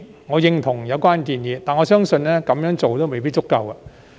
我認同有關建議，但我相信這樣做也未必足夠。